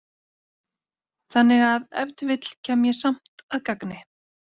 Þannig að ef til vill kem ég samt að gagni.